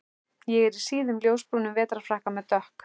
Ég er í síðum ljósbrúnum vetrarfrakka með dökk